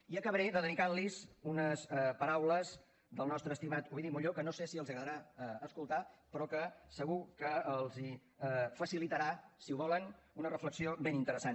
i acabaré dedicant los unes paraules del nostre estimat ovidi montllor que no sé si els agradarà escoltar però que segur que els facilitarà si ho volen una reflexió ben interessant